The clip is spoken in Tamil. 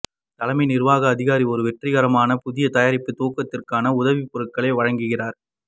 தலைமை நிர்வாக அதிகாரி ஒரு வெற்றிகரமான புதிய தயாரிப்பு துவக்கத்திற்கான உதவிக்குறிப்புகளை வழங்குகிறார்